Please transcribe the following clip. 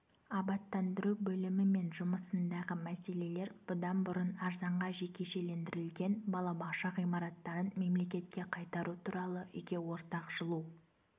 абаттандыру бөлімі мен жұмысындағы мәселелер бұдан бұрын арзанға жекешелендірілген балабақша ғимараттарын мемлекетке қайтару туралы үйге ортақ жылу